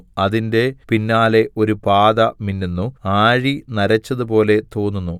അതിന്റെ പിന്നാലെ ഒരു പാത മിന്നുന്നു ആഴി നരച്ചതുപോലെ തോന്നുന്നു